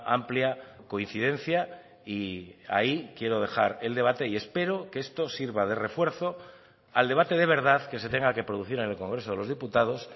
amplia coincidencia y ahí quiero dejar el debate y espero que esto sirva de refuerzo al debate de verdad que se tenga que producir en el congreso de los diputados